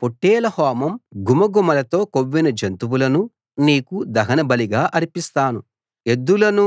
పొట్టేళ్ల హోమం ఘుమఘుమలతో కొవ్విన జంతువులను నీకు దహనబలిగా అర్పిస్తాను ఎద్దులను